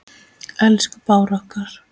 Elsku Bára okkar.